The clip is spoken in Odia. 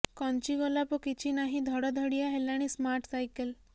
କଞ୍ଚି କୋଲପ କିଛି ନାହିଁ ଧଡ଼ ଧଡ଼ିଆ ହେଲାଣି ସ୍ମାର୍ଟ ସାଇକେଲ୍